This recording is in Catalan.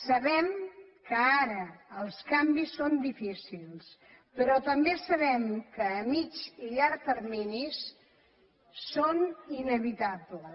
sabem que ara els canvis són difícils però també sabem que a mitjà i llarg termini són inevitables